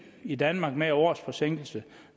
i danmark med en års forsinkelse